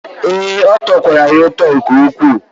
Ee, ọ tọkwara ya ụtọ nke ukwu.